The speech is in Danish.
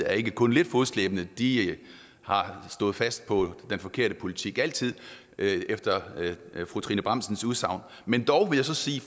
er ikke kun lidt fodslæbende de har stået fast på den forkerte politik altid efter fru trine bramsens udsagn men dog vil jeg så sige